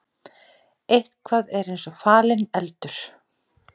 Eitthvað er eins og falinn eldur